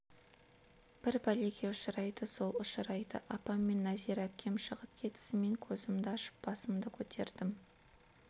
бір пәлеге ұшырайды сол ұшырайды апам мен нәзира әпкем шығып кетісімен көзімді ашып басымды көтердім